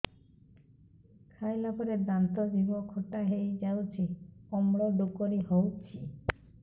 ଖାଇଲା ପରେ ଦାନ୍ତ ଜିଭ ଖଟା ହେଇଯାଉଛି ଅମ୍ଳ ଡ଼ୁକରି ହଉଛି